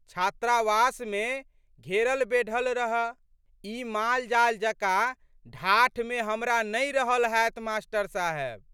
छात्रावासमे घेरलबेढ़ल रह। ई मालजाल जकाँ ढाठमे हमरा नहि रहल हैत मा.साहेब।